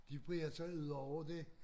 De breder sig udover det